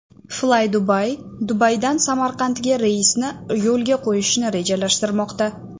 Flydubai Dubaydan Samarqandga reysni yo‘lga qo‘yishni rejalashtirmoqda.